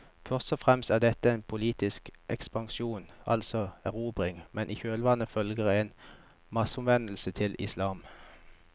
Først og fremst er dette en politisk ekspansjon, altså erobringer, men i kjølvannet følger en masseomvendelse til islam.